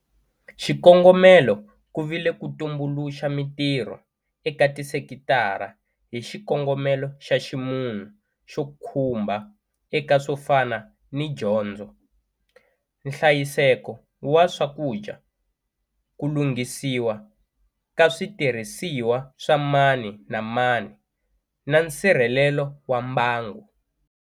Xikongomelo ku vile ku tumbuluxa mitirho eka tisekitara hi xikongomelo xa ximunhu xo khumba eka swo fana ni dyondzo, nhlayiseko wa swakudya, ku lunghisiwa ka switirhisiwa swa mani na mani na nsirhelelo wa mbangu.